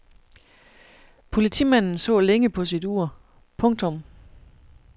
Politimanden så længe på sit ur. punktum